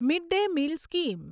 mid day meal scheme